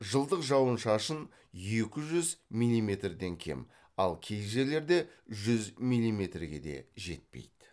жылдық жауын шашын екі жүз миллиметрден кем ал кей жерлерде жүз миллиметрге де жетпейді